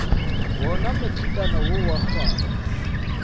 wona matrikana wo wa kgwara